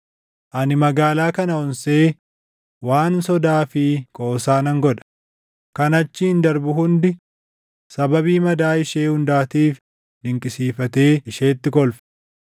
Ani magaalaa kana onsee waan sodaa fi qoosaa nan godha; kan achiin darbu hundi sababii madaa ishee hundaatiif dinqisiifatee isheetti kolfa.